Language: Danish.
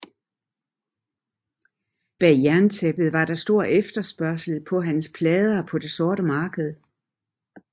Bag jerntæppet var der stor efterspørgsel på hans plader på det sorte marked